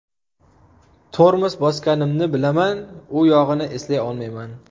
Tormoz bosganimni bilaman, u yog‘ini eslay olmayman.